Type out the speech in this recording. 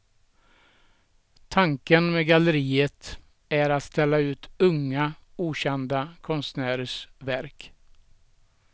Tanken med galleriet är att ställa ut unga, okända konstnärers verk.